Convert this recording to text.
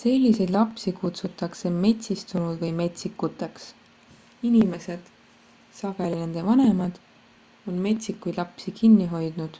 selliseid lapsi kutsutakse metsistunud või metsikuteks. inimesed sageli nende vanemad on metsikuid lapsi kinni hoidnud;